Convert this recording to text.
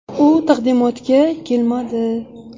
U taqdimotga kelmadi.